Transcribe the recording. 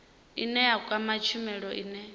ine ya kwama tshumelo ine